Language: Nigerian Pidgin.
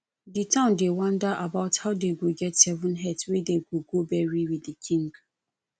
the town dey wonder about how dey go get seven heads wey dey go bury with the king